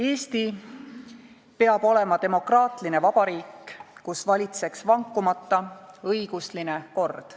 "Eesti peab olema demokraatline vabariik, kus valitseks vankumata õigusline kord.